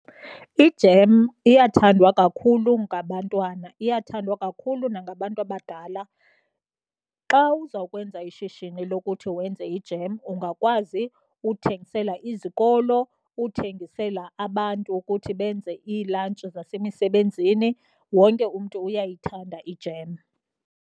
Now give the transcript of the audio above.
Ijem iyathandwa kakhulu ngabantwana, iyathandwa kakhulu nangabantu abadala. Xa uzawukwenza ishishini lokuthi wenze ijem, ungakwazi uthengisela izikolo, uthengisela abantu ukuthi benze iilantshi zasemisebenzini, wonke umntu uyayithanda ijem.